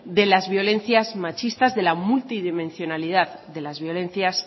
de las violencias machistas de la multidimensionalidad de las violencias